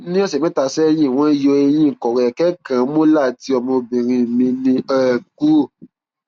ní ọsẹ mẹta sẹyìn wọn yọ eyín kọrọ ẹrẹkẹ kan molar tí ọmọbìnrin mi ní um kúrò